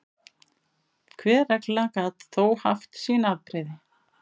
Hver regla gat þó haft sín afbrigði.